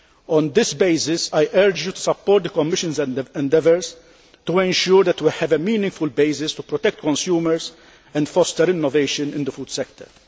On this basis, I urge you to support the Commission's endeavours to ensure that we have a meaningful basis to protect consumers and foster innovation in the food sector.